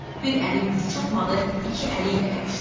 Bir əlin gücü çatmadı, iki əli ilə yapışdı.